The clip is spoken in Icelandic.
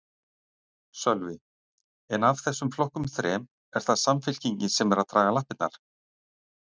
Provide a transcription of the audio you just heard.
Sölvi: En af þessum flokkum þrem, er það Samfylkingin sem er að draga lappirnar?